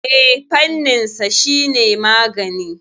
Eh, fanninsa shine magani.